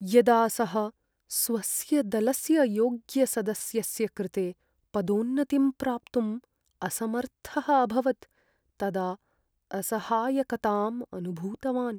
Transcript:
यदा सः स्वस्य दलस्य योग्यसदस्यस्य कृते पदोन्नतिं प्राप्तुं असमर्थः अभवत् तदा असहायकताम् अनुभूतवान्।